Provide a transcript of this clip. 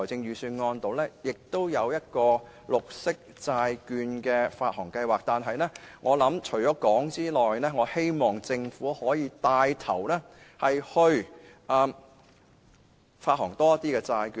預算案亦提出綠色債券發行計劃，但除此之外，我希望政府可以牽頭發行更多債券。